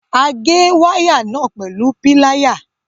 A gé waya náà pẹlu Píláyà